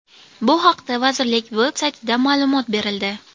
Bu haqda vazirlik veb-saytida ma’lumot berildi.